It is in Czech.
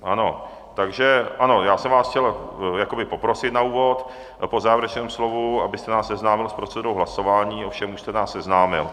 Ano, takže ano, já jsem vás chtěl jakoby poprosit na úvod po závěrečném slovu, abyste nás seznámil s procedurou hlasování, ovšem už jste nás seznámil